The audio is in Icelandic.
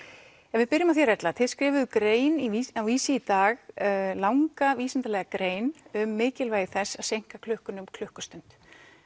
ef við byrjum á þér Erla þið skrifuðuð grein á Vísi í dag langa vísindalega grein um mikilvægi þess að seinka klukkunni um klukkustund